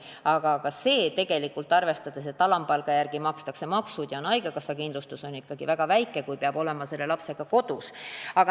Aga ka see on – arvestades, et alampalga järgi makstakse maksud ja saadakse haigekassa kindlustus – tegelikult ikkagi väga väike, kui peab olema selle lapsega kodus.